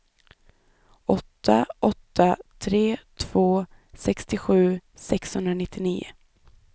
åtta åtta tre två sextiosju sexhundranittionio